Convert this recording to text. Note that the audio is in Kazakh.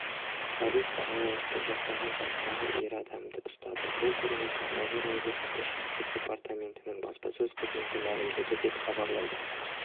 полиция алаяқтық жасаған жастағы ер адамды ұстады бұл туралы павлодар облыстық ішкі істер департаментінің баспасөз қызметі мәлімдеді деп хабарлайды